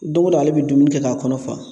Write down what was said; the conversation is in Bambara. Don o don ale bɛ dumuni kɛ k'a kɔnɔ fa